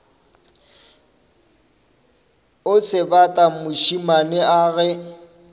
o sebata mošemane a ge